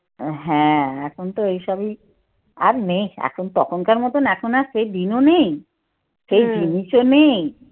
হ্যাঁ, এখন তো এইসবই আর এখন তখনকার মতন এখন আর সেই দিনও নেই সেই জিনিসও নেই।